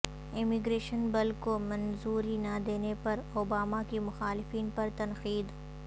immigration bill کو منظوری نہ دینے پر اوباما کی مخالفین پر تنقید